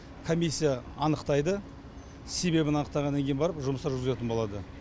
комиссия анықтайды себебін анықтағаннан кейін барып жұмыстар жүргізетін болады